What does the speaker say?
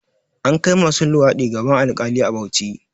An kai masu luwaɗi gaban alkali a Bauchi